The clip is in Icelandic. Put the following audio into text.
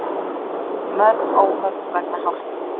Mörg óhöpp vegna hálku